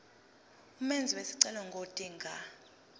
umenzi wesicelo ngodinga